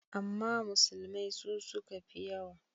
Amma dai musulmai su suka fiyewa.